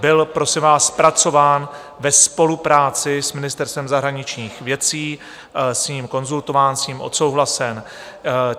Byl prosím vás zpracován ve spolupráci s Ministerstvem zahraničních věcí, s ním konzultován, s ním odsouhlasen.